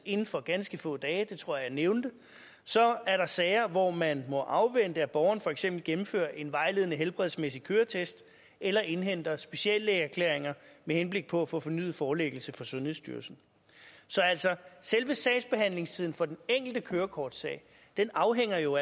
inden for ganske få dage det tror jeg nævnte og så er der sager hvor man må afvente at borgeren for eksempel gennemfører en vejledende helbredsmæssig køretest eller indhenter speciallægeerklæringer med henblik på at få fornyet forelæggelse for sundhedsstyrelsen så altså selve sagsbehandlingstiden for den enkelte kørekortsag afhænger jo